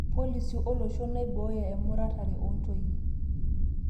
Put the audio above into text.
policy olosho naibooyo emuratare oontoyie